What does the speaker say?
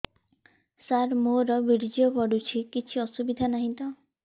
ସାର ମୋର ବୀର୍ଯ୍ୟ ପଡୁଛି କିଛି ଅସୁବିଧା ନାହିଁ ତ